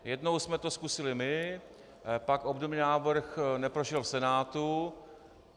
Jednou jsme to zkusili my, pak obdobný návrh neprošel v Senátu.